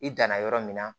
I danna yɔrɔ min na